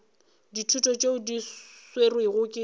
ditulo tšeo di swerwego ke